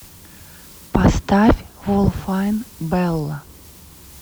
поставь волфайн белла